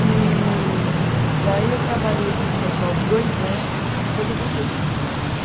E daí eu trabalhei aqui em São Paulo dois anos e depois eu voltei para São Carlos.